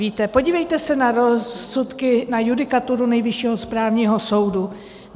Víte, podívejte se na rozsudky, na judikaturu Nejvyššího správního soudu.